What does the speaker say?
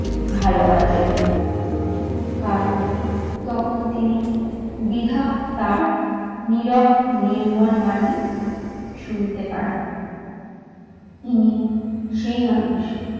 ভালোবাসবেন। কারণ তখন তিনি বিধাতার নীরব নির্মল বাণী শুনিতে পান, তিনি সেই মানুষ।